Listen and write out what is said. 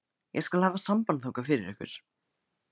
Ég skal hafa samband þangað fyrir ykkur.